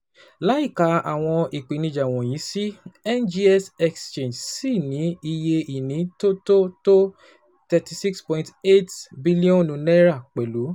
Láìka àwọn ìpèníjà wọ̀nyí sí NGX Exchange ṣì ní iye ìní tó tó tó thirty six point eight bílíọ̀nù naira pẹ̀lú